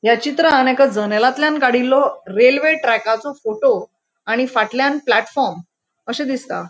या चित्रान एका जनेलाथल्यान काड़ीलों रेल्वे ट्रॅकाचो फोटो आणि फाटल्यान प्लेटफॉर्म अशे दिसता.